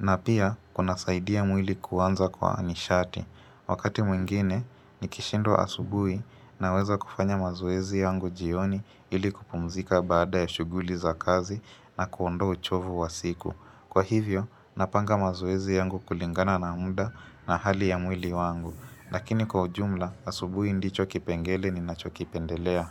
Na pia kunasaidia mwili kuanza kwa nishati. Wakati mwingine nikishindwa asubui naweza kufanya mazoezi yangu jioni ili kupumzika baada ya shuguli za kazi na kuondoa uchovu wa siku. Kwa hivyo, napanga mazoezi yangu kulingana na muda na hali ya mwili wangu. Lakini kwa ujumla, asubuhi ndicho kipengele ninachokipendelea.